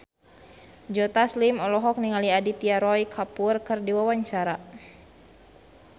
Joe Taslim olohok ningali Aditya Roy Kapoor keur diwawancara